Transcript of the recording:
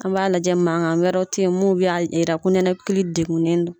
An b'a lajɛ mankan an wɛrɛw te yen mun b'a yira ko nikali degun n don